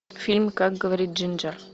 фильм как говорит джинджер